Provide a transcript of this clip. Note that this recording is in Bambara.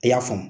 I y'a faamu